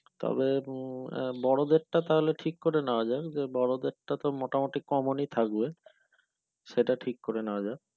তবে উম আহ বোড়োদেরটা ঠিক করে নাওয়াযাক বোড়োদের তো মোটামোটি common ই থাকবে সেটা ঠিক করে নেয়া যাক